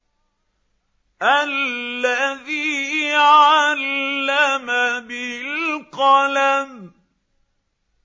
الَّذِي عَلَّمَ بِالْقَلَمِ